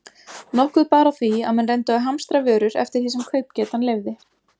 Nokkuð bar á því, að menn reyndu að hamstra vörur eftir því sem kaupgetan leyfði.